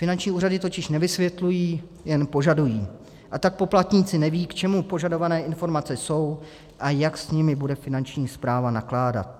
Finanční úřady totiž nevysvětlují, jen požadují, a tak poplatníci nevědí, k čemu požadované informace jsou a jak s nimi bude Finanční správa nakládat.